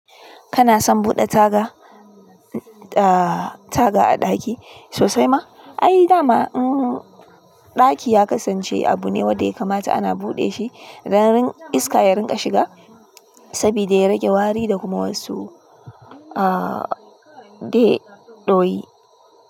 Kana son buɗe taga, taga a ɗaki sosai ma? Ai dama ɗaki ya kasance abu ne wanda ya kamata ana buɗe shi don iska ya rinƙa shiga saboda ya rage wari da kuma wasu aaa de ɗoyi.